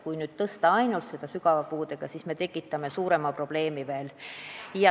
Kui nüüd tõsta ainult seda sügava puudega lapse toetust, siis me tekitame veel suurema probleemi.